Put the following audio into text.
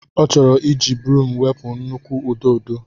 Ọ chọrọ iji broom wepụ nnukwu ududo.